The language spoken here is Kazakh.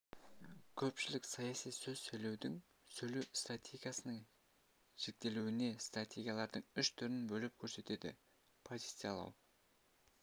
көпшілік саяси сөз сөйлеудің сөйлеу стратегиясының жіктелуінде стратегиялардың үш түрін бөліп көрсетеді позициялау